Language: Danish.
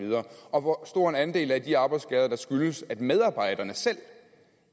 og hvor stor en andel af de arbejdsskader der skyldes at medarbejderne selv